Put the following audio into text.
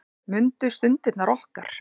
Mundu stundirnar okkar.